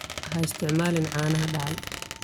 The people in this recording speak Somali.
Ha isticmaalin caanaha dhacay.